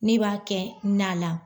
N'i b'a kɛ nan la.